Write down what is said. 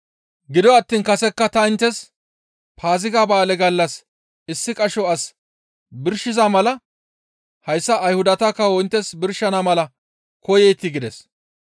Gido attiin kasekka ta inttes Paaziga ba7aale gallas issi qasho as birshiza mala hayssa Ayhudata kawo inttes birshana mala koyeetii?» gides.